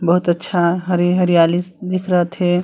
बहोत अच्छा हरे हरयाली दिखत हे।